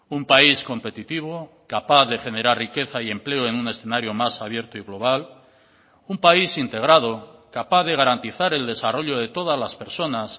un país competitivo capaz de generar riqueza y empleo en un escenario más abierto y global un país integrado capaz de garantizar el desarrollo de todas las personas